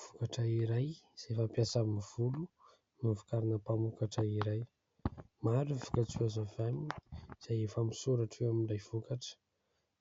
Vokatra iray izay fampiasa amin'ny volo novokarin'ny mpamokatra iray, maro ny vokatra azo avy aminy, izay efa misoratra eo amin'ilay vokatra